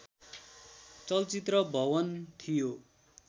चलचित्र भवन थियो